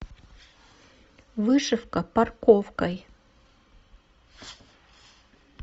вышивка парковкой